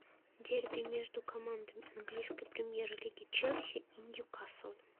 дерби между командами английской премьер лиги челси и ньюкасл